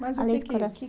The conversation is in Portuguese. Mas o que que além de